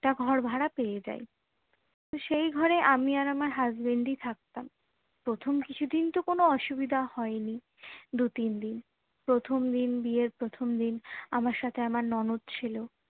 টা ঘর ভাড়া পেয়ে যাই তো সেই ঘরে আমি আর আমার husband ই থাকতাম প্রথম কিছুদিন তো কোনো অসুবিধা হয়নি দু তিন দিন প্রথম দিন বিয়ের প্রথম দিন আমার সাথে আমার ননদ ছিল